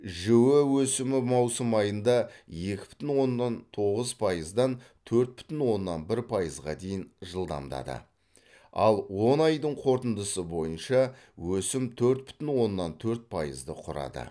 жіө өсімі маусым айында екі бүтін оннан тоғыз пайыздан төрт бүтін оннан бір пайызға дейін жылдамдады ал он айдың қорытындысы бойынша өсім төрт бүтін оннан төрт пайызды құрады